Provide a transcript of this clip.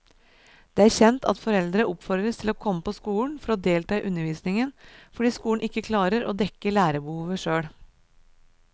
Det er kjent at foreldre oppfordres til å komme på skolen for å delta i undervisningen fordi skolen ikke klarer å dekke lærerbehovet selv.